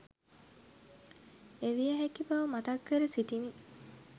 එවිය හැකි බව මතක් කර සිටිමි.